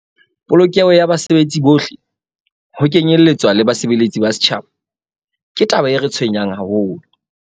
"Polokeho ya basebetsi bohle, ho kenyeletswa le basebeletsi ba setjhaba, ke taba e re tshwenyang haholo."